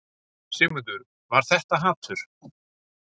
Sigmundur: Var þetta hatur?